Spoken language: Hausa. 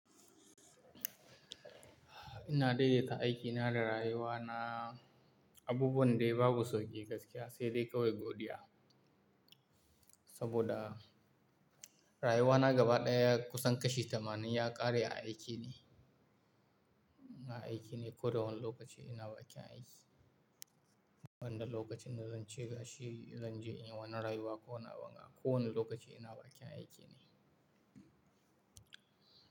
Ina daidaita aikina da rayuwana, abubuwan dai babu sauƙi gaskiya sai dai kawai godiya. Saboda rayuwana gaba ɗaya kusan kashi tamanin ya ƙare a aiki ne. Na aiki ne ko da wane lokaci ina bakin aiki. Wanda lokacin da zan ce gashi, zan je in yi wani rayuwa ko wani abun ga kowane lokaci ina bakin aiki ne.